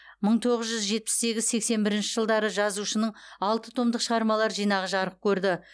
мың тоғыз жүз жетпіс сегіз сексен бірінші жылдары жазушының алты томдық шығармалар жинағы жарық көрді